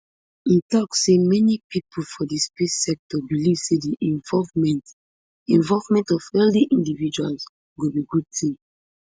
im tok say many pipo for di space sector believe say di involvement involvement of wealthy individuals go be good tin